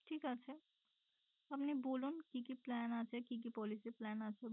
ঠিক আছে আপনি বলুন কি কি plan আছে কি কি policy plan আছে?